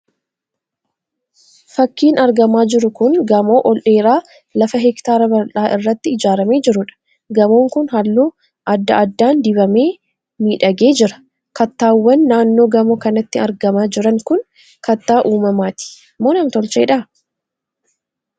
Fakkiin argamaa jiru kun gamoo ol dheeraa lafa hektaara bal'aa irratti ijaaramee jiruudha. Gamoon kun halluu adda addaan dibamee miidhagee jira. Kattaawwan naannoo gamoo kanaatti argamaa jiran kun kattaa uumamaati moo nam-tolcheedha?